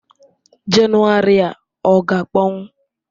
January a ọ ga-akpọnwụ?